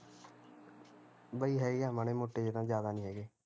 ਬਈ ਹੈਗੇ ਆ ਮਾੜੇ ਮੋਟੇ ਜਿਹੇ ਜਿਆਦਾ ਨੀ ਹੈਗੇ